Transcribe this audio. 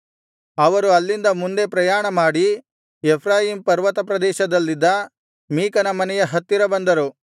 ಅವರು ಅಲ್ಲಿಂದ ಮುಂದೆ ಪ್ರಯಾಣಮಾಡಿ ಎಫ್ರಾಯೀಮ್ ಪರ್ವತಪ್ರದೇಶದಲ್ಲಿದ್ದ ಮೀಕನ ಮನೆಯ ಹತ್ತಿರ ಬಂದರು